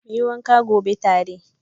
Muyi wanka gobe tare.